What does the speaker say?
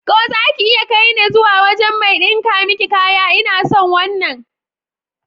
Ko zaki iya kaine zuwa wajan mai ɗinka miki kaya? Ina son wannan.